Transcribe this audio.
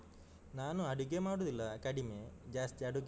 ನಾನು ಅಡುಗೆ ಮಾಡುದಿಲ್ಲ ಕಡಿಮೆ, ಜಾಸ್ತಿ ಬರುದಿಲ್ಲ.